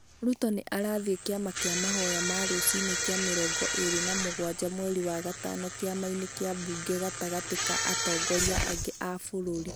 Ruto nĩ arathiĩ kĩama kĩa mahoya ma rũcinĩ kĩa mĩrongo ĩri na mũgwaja mweri wa gatano Kĩamainĩ kĩa Bunge gatagatĩ ka atongoria angĩ a bũrũri.